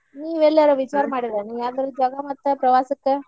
ನೀವೆಲ್ಲರ್ ವಿಚಾರ ಮಾಡಿರೇನ ಯಾವದರ ಪ್ರವಾಸಕ್ಕ?